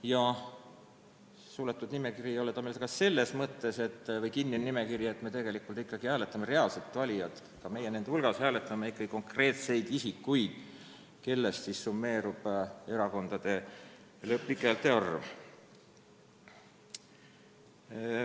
Ja suletud või kinnised ei ole nimekirjad meil ka selles mõttes, et me valijatena hääletame ikkagi reaalse kandidaadi poolt, me valime konkreetseid isikuid, kelle häältest summeerub erakondade lõplik häälte arv.